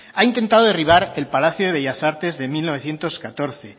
ha intentado derribar el palacio de bellas artes de mil novecientos catorce